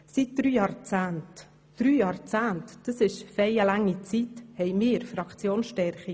Seit drei Jahrzehnten – einer doch recht langen Zeit – haben wir Grüne Fraktionsstärke.